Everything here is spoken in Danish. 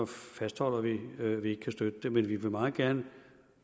fastholder vi at vi ikke kan støtte det men vi vil meget gerne